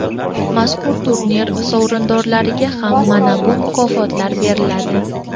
Mazkur turnir sovrindorlariga ham mana bu mukofotlar beriladi.